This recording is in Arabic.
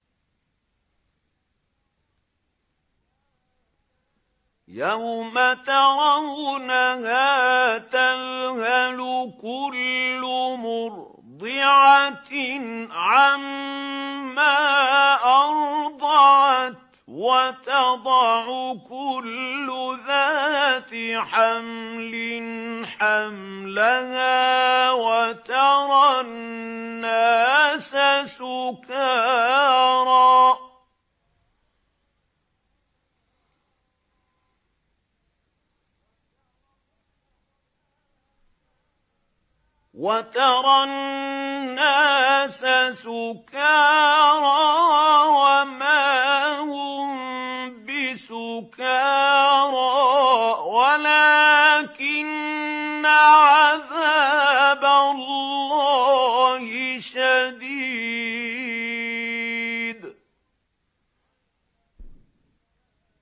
يَوْمَ تَرَوْنَهَا تَذْهَلُ كُلُّ مُرْضِعَةٍ عَمَّا أَرْضَعَتْ وَتَضَعُ كُلُّ ذَاتِ حَمْلٍ حَمْلَهَا وَتَرَى النَّاسَ سُكَارَىٰ وَمَا هُم بِسُكَارَىٰ وَلَٰكِنَّ عَذَابَ اللَّهِ شَدِيدٌ